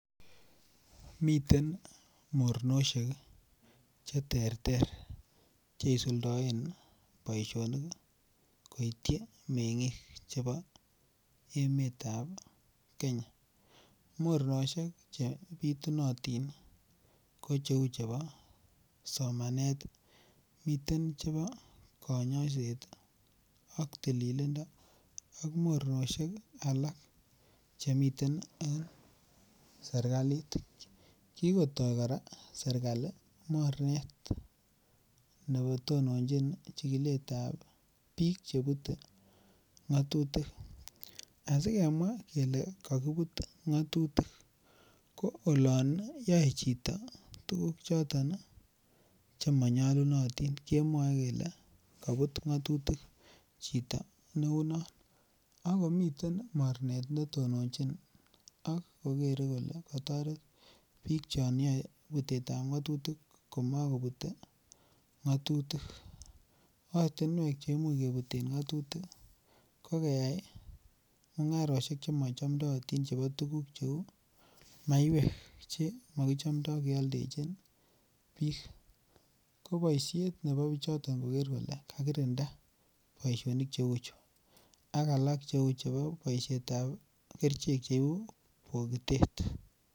Miten mornosiek Che terter Che isuldoen boisionik koityi mengik chebo emet ab Kenya mornosiek Che bitunotin ko cheu chebo somanet miten chebo kanyoiset ak tililindo ak mornosiek alak Che miten en serkalit kigotoi kora serkali mornet ne tononjin chigilet ab bik Che Bute ngatutik asi kemwaa kele kakibut ngatutik ko oloon yoe chito tuguk choton Che manyolunotin kemwoe kele kabut ngatutik chito neu noton ak komiten mornet ne tononjin ak kogere Kole ka toret bik chon yoe Butet ab ngatutik ko mo kobute ngatutik ortinwek Che Imuch kebuten ngatutik ko keyai mungarosiek Che machamdaatin chebo tuguk Cheu maiwek Che makichamdo kialdechi bik ko boisiet nebo bichoton koger kole kagirinda boisionik Che uchu ak alak Cheu boisiet ab kerichek Che ibu bogitet